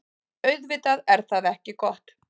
Auðvitað er það ekki gott.